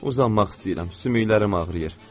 Uzanmaq istəyirəm, sümüklərim ağrıyır.